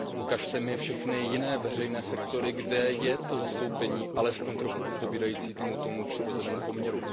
Ukažte mi všechny jiné veřejné sektory, kde je to zastoupení alespoň trochu odpovídající tomu přirozenému poměru.